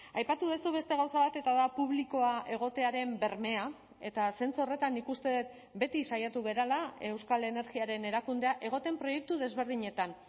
aipatu duzu beste gauza bat eta da publikoa egotearen bermea eta zentzu horretan nik uste dut beti saiatu garela euskal energiaren erakundea egoten proiektu desberdinetan